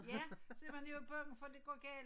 Ja så er man jo bange for at det går galt